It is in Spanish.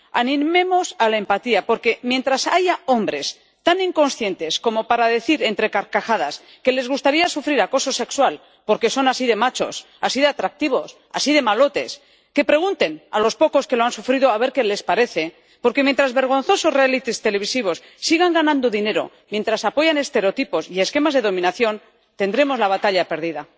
Animemos a la empatía, porque mientras haya hombres tan inconscientes como para decir entre carcajadas que les gustaría sufrir acoso sexual porque son así de machos, así de atractivos, así de malotes —que pregunten a los pocos que lo han sufrido a ver qué les parece—, porque mientras vergonzosos realities televisivos sigan ganando dinero mientras apoyan estereotipos y esquemas de dominación, tendremos la batalla perdida.